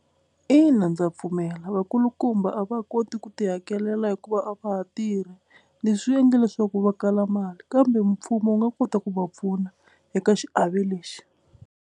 Ina ndza pfumela vakulukumba a va koti ku ti hakelela hikuva a va ha tirhi leswi swi endle leswaku va kala mali kambe mpfumo wu nga kota ku va pfuna eka xiave lexi.